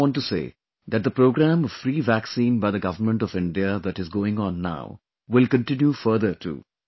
I also want to say that the programme of free vaccine by the government of India that is going on now will continue further too